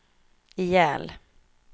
ihjäl